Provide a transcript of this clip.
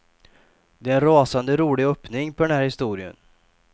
Det är en rasande rolig öppning på den här historien.